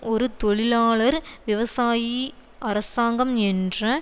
ஒரு தொழிலாளர் விவசாயி அரசாங்கம் என்ற